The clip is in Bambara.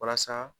Walasa